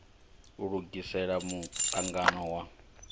u lugisela mu angano wa